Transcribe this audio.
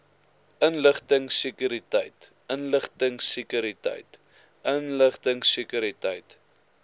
inligtingsekuriteit inligtingsekuriteit inligtingsekuriteit